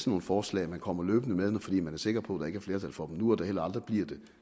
nogle forslag man kommer løbende med fordi man er sikker på at der ikke er flertal for dem nu og at der heller aldrig bliver det